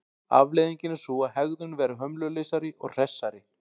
Afleiðingin er sú að hegðun verður hömlulausari og hressari.